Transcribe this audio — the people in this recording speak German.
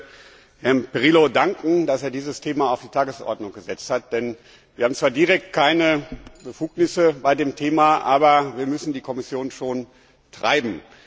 Ich möchte Herrn Pirillo danken, dass er dieses Thema auf die Tagesordnung gesetzt hat, denn wir haben zwar direkt keine Befugnisse bei dem Thema, aber wir müssen die Kommission schon treiben.